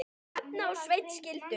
Hrefna og Sveinn skildu.